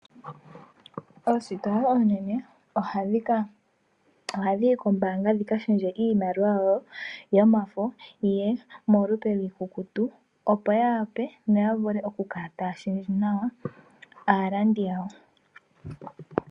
Oositola oonene ohadhiyi koombaanga dhikalundulule iimaliwa yawo yomafo yiye molupe lwiikukutu opo yawape noyavule okukala taya shendje nawa aalandi yawo.